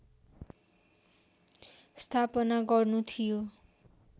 स्थापना गर्नु थियो